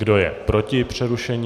Kdo je proti přerušení?